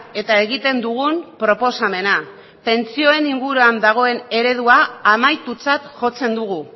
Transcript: eta egiten dugun proposamena pentsioen inguruan dagoen eredua amaitutzat jotzen dugu